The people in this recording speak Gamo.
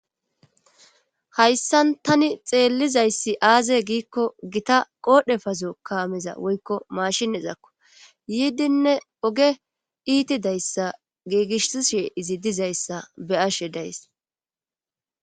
hayssan tani xeellizayssi aaze giikko gita qoodhe fazo kaameza woykko mashiezakko yiidinne oge iiti dayssa giigishishe izi dizayssa be ashe days